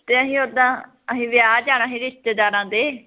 ਤੇ ਅਸੀਂ ਓਦਾ ਅਸੀਂ ਵਿਆਹ ਜਾਣਾ ਸੀ ਰਿਸ਼ਤੇਦਾਰਾਂ ਦੇ